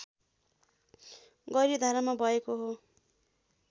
गैरीधारामा भएको हो